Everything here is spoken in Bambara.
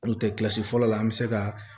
N'o tɛ kilasi fɔlɔ la an bɛ se ka